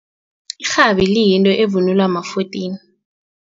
Irhabi liyinto evunulwa bama-fourteen.